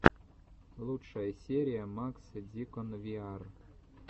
лучшая серия макс дикон виар